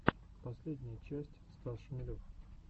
последняя часть стас шмелев